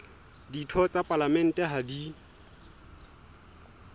ditho tsa palamente ha di